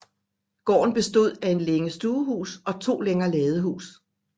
Gården bestod af en længe stuehus og to længer ladehus